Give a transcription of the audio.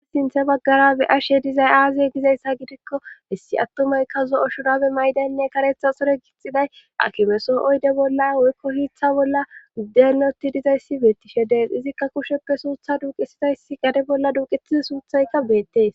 Ai sinthe baggara be ashe dizay aaze gizayssa gidikkohessi attumaykka zo7o shurabe maydaynne karetha sore gixxiday akimesoo7oyde bolla woykko hiitha bolla guddenoti dizayssi beettishe dees izikka kusheppe suutha duuqisidaysi gare bolla duuqetizi suuthayka beettees